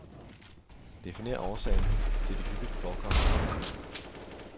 Definer årsagen til de hyppigt forekommende fejl.